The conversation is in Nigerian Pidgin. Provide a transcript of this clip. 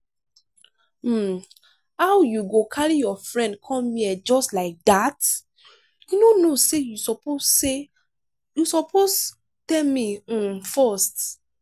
um how you go carry your friend come here just like dat? you no know say you suppose say you suppose tell me um first.